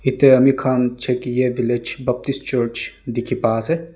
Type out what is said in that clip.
etiya ami khan chekiye village Baptist church dekhi pai ase.